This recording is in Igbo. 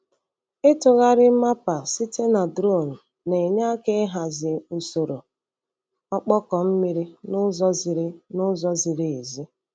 Ịtụgharị mapa site na drone na-enye aka ịhazi usoro ọkpọkọ mmiri n'ụzọ ziri n'ụzọ ziri ezi.